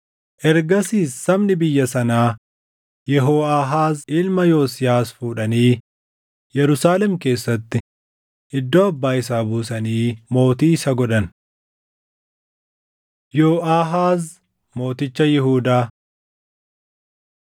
Ergasiis sabni biyya sanaa Yehooʼaahaaz ilma Yosiyaas fuudhanii Yerusaalem keessatti iddoo abbaa isaa buusanii mootii isa godhan. Yooʼaahaaz Mooticha Yihuudaa 36:2‑4 kwf – 2Mt 23:31‑34